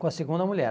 com a segunda mulher.